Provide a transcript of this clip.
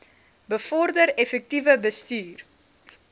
bevorder effektiewe bestuur